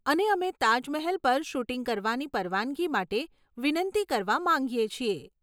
અને અમે તાજમહેલ પર શૂટિંગ કરવાની પરવાનગી માટે વિનંતી કરવા માંગીએ છીએ.